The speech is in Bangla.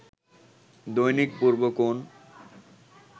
দৈনিক পূর্বকোণ